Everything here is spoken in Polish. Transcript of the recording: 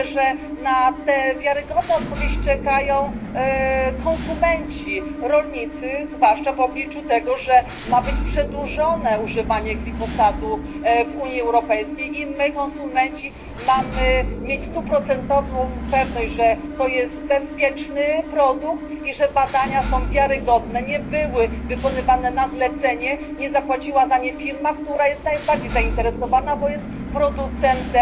Myślę, że na te wiarygodne odpowiedzi czekają konsumenci, rolnicy, zwłaszcza w obliczu tego, że ma być przedłużone używanie glifosatu w Unii Europejskiej i my konsumenci mamy mieć stuprocentową pewność, że to jest bezpieczny produkt i że badania są wiarygodne, że nie były wykonywane na zlecenie, nie zapłaciła za nie firma, która jest najbardziej zainteresowana, bo jest producentem